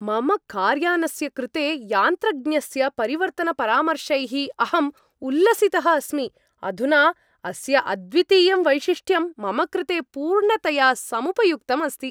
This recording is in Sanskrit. मम कार्यानस्य कृते यान्त्रज्ञस्य परिवर्तनपरामर्शैः अहम् उल्लसितः अस्मि, अधुना अस्य अद्वितीयं वैशिष्ट्यं मम कृते पूर्णतया समुपयुक्तम् अस्ति।